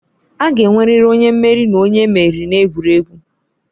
A ga-enwerịrị onye mmeri na onye emeriri n'egwuregwu.